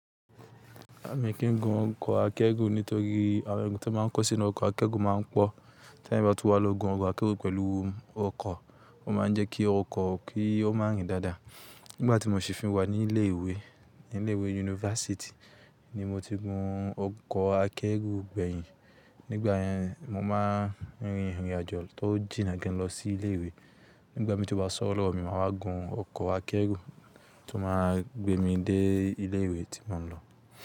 Mi kì í gun ọkọ̀ akẹ́rù nítorí àwọn eru tí wọ́n máa ń kó sínú ọkọ̀ akẹ́rù máa ń pọ̀. Teeyan bá tú wá lọ gun ọkọ̀ akẹ́rù pẹ̀lú ọkọ̀, ó máa ń jẹ́ kí ọkọ̀ kí ó má rìn dáadáa. Nígbà tí mo ṣì fí wà ní ilé ìwé, ní ilé ìwé yunifásítì ni mo ti gun ọkọ̀ akẹ́rù gbẹ̀yìn. Nígbà yẹn, mo máa ń rin ìrìnàjò tó jìnnà gan lọ sí ilé ìwé. Nígbà mii tí o bá sọ́wọ́ lọ̀wo mi máa wá gun ọkọ̀ akẹ́rù tó máa gbé mi dé ilé ìwé tí mò ń lọ.